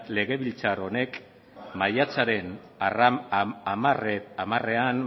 legebiltzar honek maiatzaren hamarean